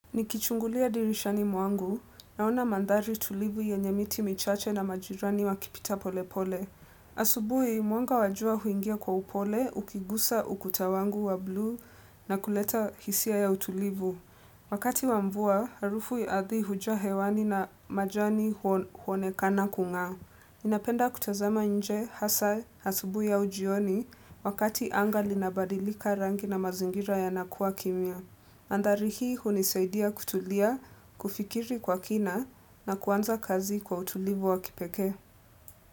Nikichungulia dirishani mwangu, naona mandhari tulivu yenye miti michache na majirani wakipita pole pole. Asubuhi, mwanga wa jua huingia kwa upole, ukigusa ukuta wangu wa blue na kuleta hisia ya utulivu. Wakati wa mvua, harufu ya ardhi hujaa hewani na majani huonekana kung'aa. Napenda kutazama nje, hasa, asubuhi au jioni, wakati anga linabadilika rangi na mazingira yana kuwa kimya. Adhari hii hunisaidia kutulia, kufikiri kwa kina na kuanza kazi kwa utulivu wa kipeke.